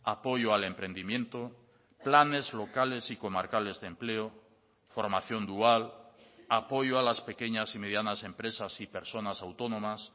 apoyo al emprendimiento planes locales y comarcales de empleo formación dual apoyo a las pequeñas y medianas empresas y personas autónomas